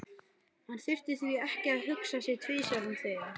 Hann þurfti því ekki að hugsa sig tvisvar um þegar